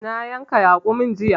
Na yanka raƙumin jiya.